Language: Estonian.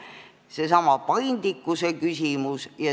See on seesama paindlikkuse küsimus.